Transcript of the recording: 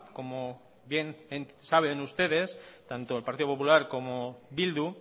como bien saben ustedes tanto el partido popular como bildu